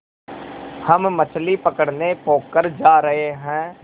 हम मछली पकड़ने पोखर जा रहें हैं